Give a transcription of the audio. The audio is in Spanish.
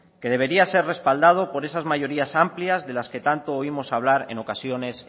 que debería ser respaldado por esas mayorías amplias de las que tanto oímos hablar en ocasiones